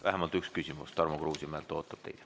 Vähemalt üks küsimus Tarmo Kruusimäelt ootab teid.